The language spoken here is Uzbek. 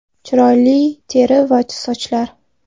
Chiroyli teri va sochlar .